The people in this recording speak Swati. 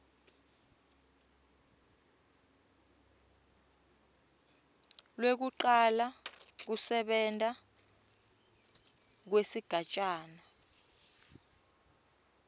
lwekucala kusebenta kwesigatjana